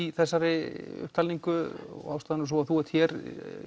í þessari upptalningu og ástæðan er sú að þú ert hér